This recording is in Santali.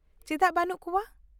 ᱼᱪᱮᱫᱟᱜ ᱵᱟᱹᱱᱩᱜ ᱠᱚᱣᱟ ?